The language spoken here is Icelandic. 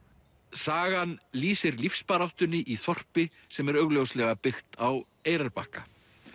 sagan lýsir lífsbaráttunni í þorpi sem er augljóslega byggt á Eyrarbakka